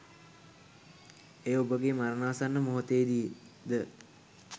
එය ඔබගේ මරණාසන්න මොහොතේදී ද